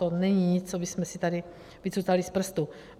To není nic, co bychom si tady vycucali z prstu.